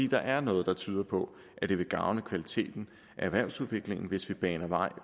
der er noget der tyder på at det vil gavne kvaliteten af erhvervsudviklingen hvis vi baner vej